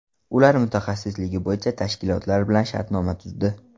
Ular mutaxassisligi bo‘yicha tashkilotlar bilan shartnoma tuzdi.